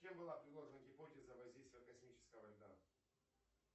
кем была предложена гипотеза воздействия космического льда